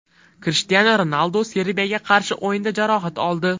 Krishtianu Ronaldu Serbiyaga qarshi o‘yinda jarohat oldi.